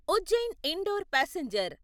Ujjain Indore passenger